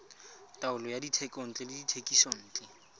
taolo ya dithekontle le dithekisontle